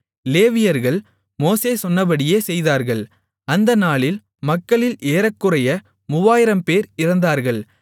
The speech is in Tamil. லேவியர்கள் மோசே சொன்னபடியே செய்தார்கள் அந்தநாளில் மக்களில் ஏறக்குறைய 3000 பேர் இறந்தார்கள்